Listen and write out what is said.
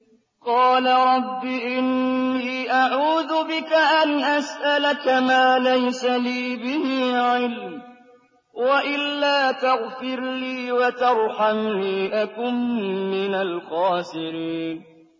قَالَ رَبِّ إِنِّي أَعُوذُ بِكَ أَنْ أَسْأَلَكَ مَا لَيْسَ لِي بِهِ عِلْمٌ ۖ وَإِلَّا تَغْفِرْ لِي وَتَرْحَمْنِي أَكُن مِّنَ الْخَاسِرِينَ